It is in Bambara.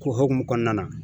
hukumu kɔnɔna na.